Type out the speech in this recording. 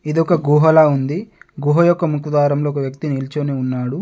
ఇది ఒక గుహలా ఉంది. గుహ యొక్క ముఖద్వారంలో ఒక వ్యక్తి నిల్చొని ఉన్నాడు.